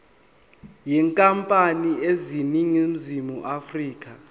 yenkampani eseningizimu afrika